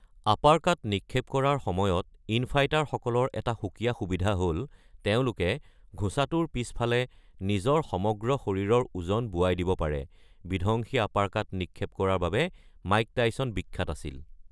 Uppercut নিক্ষেপ কৰাৰ সময়ত ইন-ফাইটাৰসকলৰ এটা সুকীয়া সুবিধা হ’ল তেওঁলোকে ঘোচাটোৰ পিছফালে নিজৰ সমগ্ৰ শৰীৰৰ ওজন বোৱাই দিব পাৰে; বিধ্বংসী আপাৰকাট নিক্ষেপ কৰাৰ বাবে মাইক টাইছন বিখ্যাত আছিল।